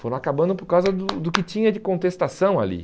Foram acabando por causa do do que tinha de contestação ali.